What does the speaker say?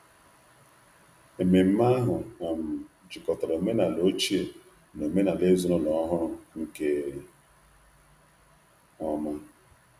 Ememme ahụ um jikọtara omenala ochie na omenala ezinụlọ ọhụrụ nke ọma.